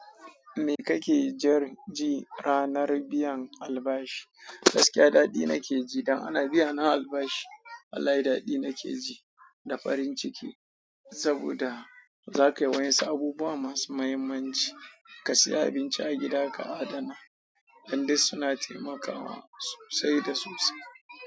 Me kake ji ranar biyan albashi? Gaskiya daɗi nake ji idan ana biyana albashi Wallahi daɗi nake ji da farin ciki, saboda za ka yi waɗansu abubuwa masu muhimmanci. Ka sayi abinci a gida ka adana, dan dai suna taimakawa sosai da sosai.